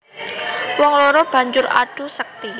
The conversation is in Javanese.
Wong loro banjur adu sekti